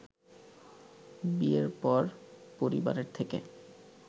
বিয়ের পর পরিবারের থেকে